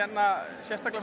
sérstaklega